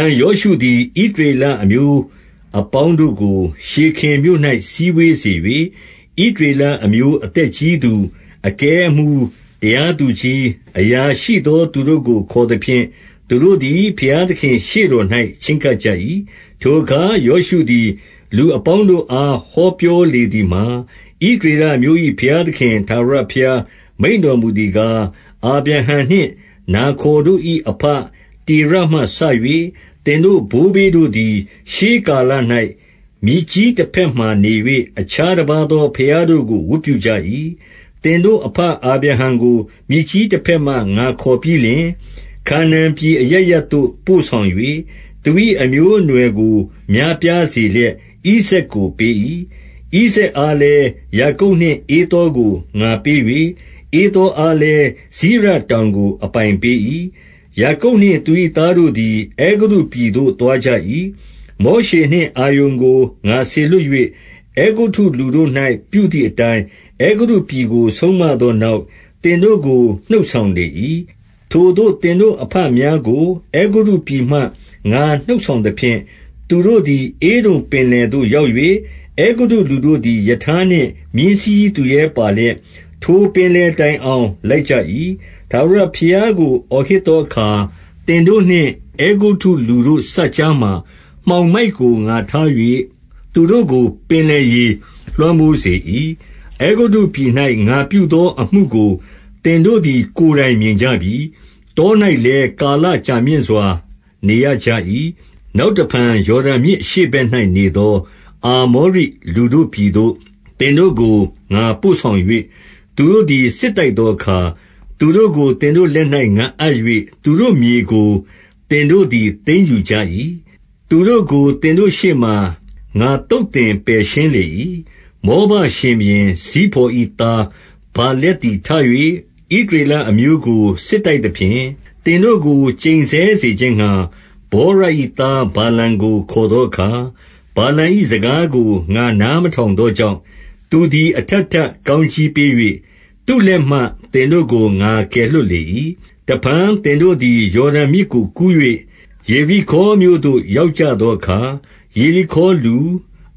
န် ယောရှုသည် ဣသရေလအမျိုးအပေါင်း တို့ကို ရှေခင်မြို့၌ စည်းဝေးစေ၍၊ ဣသရေလအမျိုး အသက်ကြီးသူ၊ အကဲအမှူး၊ တရားသူကြီး၊ အရာရှိသော သူတို့ကို ခေါ်သဖြင့်၊ သူတို့သည် ဘုရားသခင်ရှေ့တော်သို့ ချဉ်းကပ်ကြ၏။ 2 ထိုအခါ ယောရှုသည် လူအပေါင်းတို့အား ဟော ပြောလေသည်မှာ၊ ဣသရေလအမျိုး၏ ဘုရားသခင် ထာဝရဘုရား မိန့်တော်မူသည်ကား၊ အာဗြဟံနှင့် နာခေါ် တို့၏ အဘတေရမှစ၍ သင်တို့ဘိုးဘေးတို့သည် ရှေးကာ လ၌ မြစ်ကြီးတဘက်မှာနေ၍ အခြားတပါးသော ဘုရား တို့ကို ဝတ်ပြုကြ၏။ 3 သင်တို့အဘ အာဗြဟံကို မြစ်ကြီးတဘက်မှ ငါခေါ်ပြီးလျှင်၊ ခါနာန်ပြည်အရပ်ရပ်သို့ ပို့ဆောင်၍ သူ၏ အမျိုးအနွယ်ကို များပြားစေလျက်၊ ဣဇာက်ကို ပေး၏။ 4 ဣဇာက်အားလည်း၊ ယာကုပ်နှင့် ဧသောကို ငါပေး၍၊ ဧသောအားလည်း စိရတောင်ကို အပိုင်ပေး၏။ ယာကုပ်နှင့် သူ၏သားတို့သည် အဲဂုတ္တုပြည်သို့ သွားကြ၏။ 5 မောရှေနှင့်အာရုန်ကို ငါစေလွှတ်၍ အဲဂုတ္တုလူ တို့၌ ပြုသည်အတိုင်း၊ အဲဂုတ္တုပြည်ကို ဆုံးမသောနောက်၊ သင်တို့ကို နှုတ်ဆောင်လေ၏။ 6 ထိုသို့ သင်တို့အဘများကို အဲဂုတ္တုပြည်မှ ငါနှုတ် ဆောင်သဖြင့်၊ သူတို့သည် ဧဒုံပင်လယ်သို့ ရောက်၍၊ အဲဂုတ္တုလူတို့သည် ရထားနှင့် မြင်းစီးသူရဲပါလျက် ထိုပင် လယ်တိုင်အောင် လိုက်ကြ၏။ 7 ထာဝရဘုရားကို အော်ဟစ်သောအခါ၊ သင်တို့ နှင့် အဲဂုတ္တုလူတို့စပ်ကြားမှာ မှောင်မိုက်ကို ငါထား၍ သူတို့ကို ပင်လယ်ရေလွှမ်းမိုးစေ၏။ အဲဂုတ္တုပြည်၌ ငါပြု သောအမှုကို သင်တို့သည် ကိုယ်တိုင်မြင်ကြပြီ။ တော၌ လည်း ကာလကြာမြင့်စွာနေရကြ၏။ 8 နောက်တဖန် ယော်ဒန်မြစ်အရှေ့ဘက်၌နေ သော အာမောရိလူတို့ပြည်သို့ သင်တို့ကို ငါပို့ဆောင်၍၊ သူတို့သည် စစ်တိုက်သောအခါ သူတို့ကို သင်တို့လက်၌ ငါအပ်၍ သူတို့မြေကို သင်တို့သည် သိမ်းယူကြ၏။ သူတို့ ကို သင်တို့ရှေ့မှ ငါသုတ်သင်ပယ်ရှင်းလေ၏။ 9 မောဘရှင်ဘုရင် ဇိဖေါ်၏သား ဗာလက်သည် ထ၍ ဣသရေလအမျိုးကို စစ်တိုက်သဖြင့်၊ သင်တို့ကို ကျိန်ဆဲစေခြင်းငှါ၊ ဗောရ၏သား ဗာလမ်ကို ခေါ်သော အခါ၊ 10 ဗာလမ်၏စကားကို ငါနားမထောင်သောကြောင့်၊ သူသည် အထပ်ထပ်ကောင်းကြီးပေး၍ သူ့လက်မှ သင်တို့ ကို ငါကယ်လွှတ်လေ၏။ 11 တဖန် သင်တို့သည် ယော်ဒန်မြစ်ကို ကူး၍ ယေရိခေါမြို့သို့ ရောက်ကြသောအခါ၊ ယေရိခေါလူ၊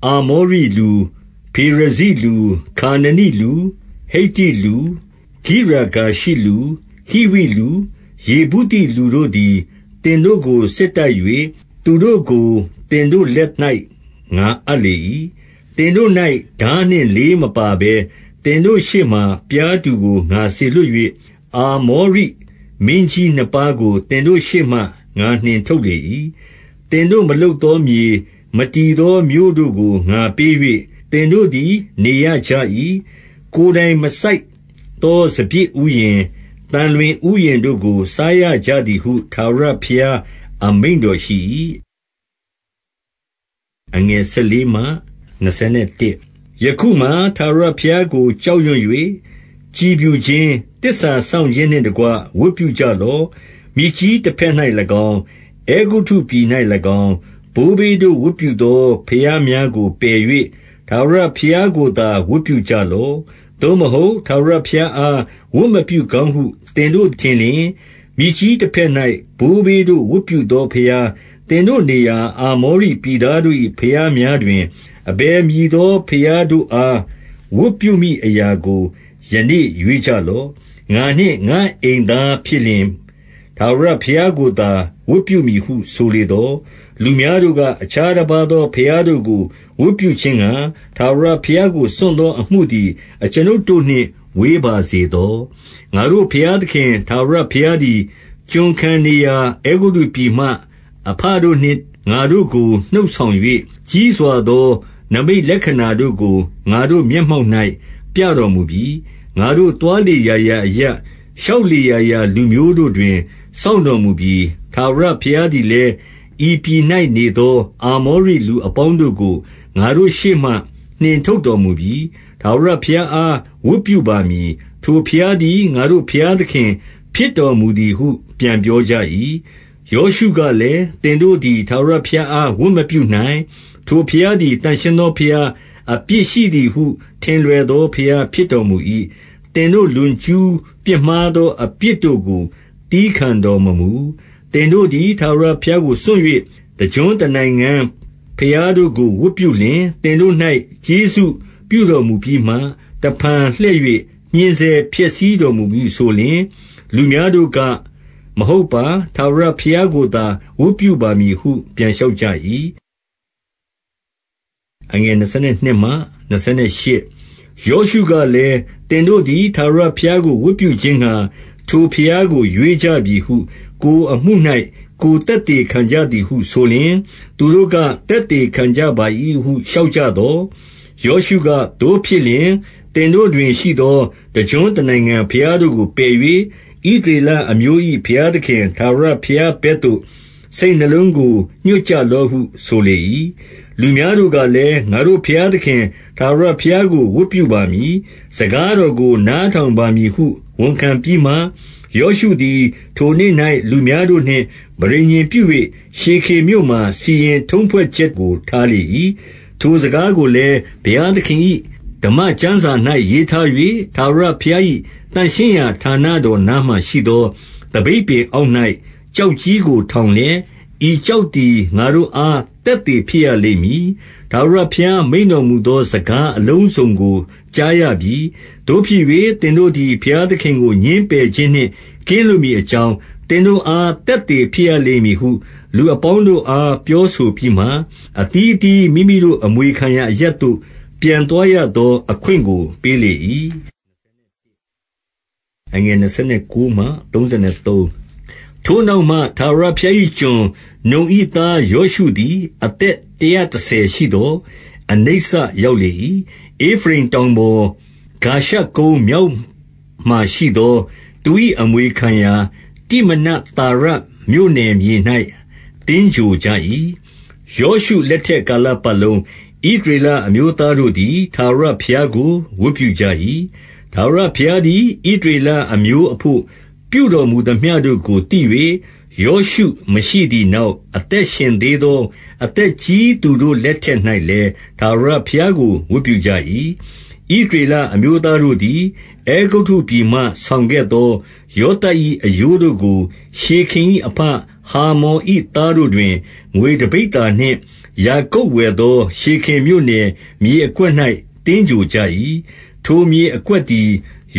အာမောရိလူ၊ ဖေရဇိလူ၊ ခါနနိလူ၊ ဟိတ္တိလူ၊ ဂိရဂါရှိလူ၊ ဟိဝိလူ၊ ယေဗုသိလူတို့သည် သင်တို့ကို စစ်တိုက်၍ သူတို့ ကို သင်တို့လက်၌ ငါအပ်လေ၏။ 12 သင်တို့၌ ထားနှင့်လေးမပါဘဲ၊ သင်တို့ရှေ့မှာ ပျားတူကို ငါစေလွှတ်၍၊ အာမောရိမင်းကြီးနှစ်ပါးကို သင် တို့ရှေ့မှ ငါနှင်ထုတ်လေ၏။ 13 သင်တို့မလုပ်သောမြေ၊ မတည်သောမြို့တို့ကို ငါပေး၍ သင်တို့သည် နေရကြ၏။ ကိုယ်တိုင်မစိုက်သော စပျစ်ဥယျာဉ်၊ သံလွင်ဥယျာဉ်တို့ကို စားရကြသည်ဟု ထာဝရဘုရား အမိန့်တော်ရှိ၏။ 14 ယခုမှာ ထာဝရဘုရားကို ကြောက်ရွံ့၍ ကြည်ဖြူ ခြင်း၊ သစ္စာစောင့်ခြင်းနှင့်တကွ ဝတ်ပြုကြလော့။ မြစ်ကြီး တဘက်၌၎င်း၊ အဲဂုတ္တုပြည်၌၎င်း၊ ဘိုးဘေးတို့ဝတ်ပြု သော ဘုရားများကို ပယ်၍ ထာဝရဘုရားကိုသာ ဝတ်ပြု ကြလော့။ 15 သို့မဟုတ် ထာဝရဘုရားအား ဝတ်မပြုကောင်း ဟု သင်တို့ထင်လျှင်၊ မြစ်ကြီးတဘက်၌ ဘိုးဘေးတို့ဝတ်ပြု သောဘုရား၊ သင်တို့နေရာ အာမောရိပြည်သားတို့၏ ဘုရားများတွင်၊ အဘယ်မည်သော ဘုရားတို့အား ဝတ်ပြု မည်အရာကို ယနေ့ ရွေးကြလော့။ ငါနှင့် ငါ့အိမ်သားဖြစ် လျှင် ထာဝရဘုရားကိုသာ ဝတ်ပြုမည်ဟု ဆိုလေသော်၊ 16 လူများတို့က အခြားတပါးသောဘုရားတို့ကို ဝတ်ပြုခြင်းငှါ ထာဝရဘုရားကို စွန့်သောအမှုသည် အကျွန်ုပ်တို့နှင့် ဝေးပါစေသော။ 17 ငါတို့ဘုရားသခင် ထာဝရဘုရားသည်၊ ကျွန်ခံ နေရာ အဲဂုတ္တုပြည်မှ အဘတို့နှင့် ငါတို့ကို နှုတ်ဆောင်၍၊ ကြီးစွာသော နိမိတ်လက္ခဏာတို့ကို ငါတို့မျက်မှောက်၌ ပြတော်မူပြီ။ ငါတို့သွားလေရာရာအရပ်၊ ရှောက်လေရာ ရာလူမျိုးတို့တွင် စောင့်တော်မူပြီ။ 18 ထာဝရဘုရားသည်လည်း၊ ဤပြည်၌ နေသော သူ အာမောရိလူအပေါင်းတို့ကို ငါတို့ရှေ့မှ နှင်ထုတ်တော် မူပြီ။ ထာဝရဘုရားအား ဝတ်ပြုပါမည်။ ထိုဘုရားသည် ငါတို့ဘုရားသခင် ဖြစ်တော်မူသည်ဟု ပြန်ပြောကြ၏။ 19 ယောရှုကလည်း၊ သင်တို့သည် ထာဝရဘုရား အား ဝတ်မပြုနိုင်။ ထိုဘုရားသည် သန့်ရှင်းသောဘုရား၊ အပြစ်ရှိသည်ဟု ထင်လွယ်သောဘုရား ဖြစ်တော်မူ၏။ သင်တို့လွန်ကျူးပြစ်မှားသော အပြစ်တို့ကို သည်းခံတော် မမူ။ 20 သင်တို့သည် ထာဝရဘုရားကို စွန့်၍ တကျွန်း တနိုင်ငံ ဘုရားတို့ကို ဝတ်ပြုလျှင်၊ သင်တို့၌ ကျေးဇူးပြုတော် မူပြီးမှ တဖန်လှည့်၍ ညှဉ်းဆဲဖျက်ဆီးတော်မူမည်ဟု ဆို လျှင်၊ 21 လူများတို့က၊ မဟုတ်ပါ။ ထာဝရဘုရားကိုသာ ဝတ်ပြုပါမည်ဟု ပြန်လျှောက်ကြ၏။ 22 ယောရှုကလည်း၊ သင်တို့သည် ထာဝရဘုရားကို ဝတ်ပြုခြင်းငှါ ထိုဘုရားကို ရွေးကြပြီဟု ကိုယ်အမှု၌ ကိုယ်သက်သေခံကြသည်ဟုဆိုလျှင် သူတို့က၊ သက်သေခံ ကြပါ၏ဟု လျှောက်ကြသော်၊ 23 ယောရှုက၊ သို့ဖြစ်လျှင်၊ သင်တို့တွင်ရှိသော တကျွန်းတနိုင်ငံဘုရားတို့ကို ပယ်၍ ဣသရေလအမျိုး၏ ဘုရားသခင် ထာဝရဘုရားဘက်သို့ စိတ်နှလုံးကို ညွှတ်ကြ လော့ဟု ဆိုလေ၏။ 24 လူများတို့ကလည်း၊ ငါတို့ဘုရားသခင် ထာဝရ ဘုရားကို ဝတ်ပြုပါမည်။ စကားတော်ကို နားထောင်ပါ မည်ဟု ဝန်ခံပြီးမှ၊ 25 ယောရှုသည် ထိုနေ့၌ လူများတို့နှင့် ပဋိညာဉ်ပြု ၍ ရှေခင်မြို့မှာ စီရင်ထုံးဖွဲ့ချက်ကို ထားလေ၏။ 26 ထိုစကားကိုလည်း ဘုရားသခင်၏ ဓမ္မကျမ်းစာ ၌ ရေးထား၍၊ ထာဝရဘုရား၏ သန့်ရှင်းရာဌာနတော် နားမှာရှိသော သပိတ်ပင်အောက်၌ ကျောက်ကြီးကို ထောင်လျက်၊ 27 ဤကျောက်သည် ငါတို့အား သက်သေဖြစ်ရ လိမ့်မည်။ ထာဝရဘုရားမိန့်တော်မူသော စကားအလုံးစုံ ကို ကြားရပြီ။ သို့ဖြစ်၍ သင်တို့သည် ဘုရားသခင်ကို ငြင်းပယ်ခြင်းနှင့် ကင်းလွတ်မည်အကြောင်း သင်တို့အား သက်သေဖြစ်ရလိမ့်မည်ဟု လူအပေါင်းတို့အား ပြောဆို ပြီးမှ၊ 28 အသီးအသီး မိမိတို့အမွေခံရာအရပ်သို့ ပြန်သွား ရသောအခွင့်ကို ပေးလေ၏။ 29 ထိုနောက်မှ ထာဝရဘုရား၏ကျွန်၊ နုန်၏သား ယောရှုသည် အသက်တရာတဆယ်ရှိသော် အနိစ္စ ရောက်လေ၏။ 30 ဧဖရိမ်တောင်ပေါ်၊ ဂါရှကုန်းမြောက်မှာရှိသော သူ၏အမွေခံရာ တိမနဿေရမြို့နယ်မြေ၌ သင်္ဂြိုဟ်ကြ၏။ 31 ယောရှုလက်ထက်ကာလပတ်လုံး ဣသရေလ အမျိုးသားတို့သည် ထာဝရဘုရားကို ဝတ်ပြုကြ၏။ ထာဝရဘုရားသည် ဣသရေလအမျိုးအဘို့ ပြုတော်မူ သမျှတို့ကို သိ၍ ယောရှုမရှိသည်နောက် အသက်ရှင်သေး သော အသက်ကြီးသူတို့လက်ထက်၌လည်း ထာဝရဘုရား ကို ဝတ်ပြုကြ၏။ 32 ဣသရေလအမျိုးသားတို့သည် အဲဂုတ္တုပြည်မှ ဆောင်ခဲ့သော ယောသပ်၏အရိုးတို့ကို၊ ရှေခင်၏အဘ ဟာမော်၏သားတို့တွင် ငွေတပိဿာနှင့် ယာကုပ်ဝယ် သော ရှေခင်မြို့နယ် မြေအကွက်၌ သင်္ဂြိုဟ်ကြ၏။ ထိုမြေ အကွက်သည်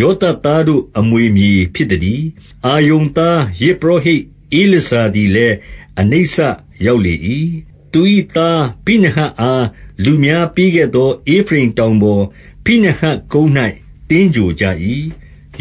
ယောသပ်သားတို့ အမွေမြေဖြစ်သတည်း။ 33 အာရုန်သား ယဇ်ပုရောဟိတ် ဧလာဇာသည် လည်း အနိစ္စရောက်လေ၏။ သူ၏သား ဖိနဟတ်အား လူများပေးခဲ့သော ဧဖရိမ်တောင်ပေါ်၊ ဖိနဟတ်ကုန်း၌ သင်္ဂြိုဟ်ကြ၏။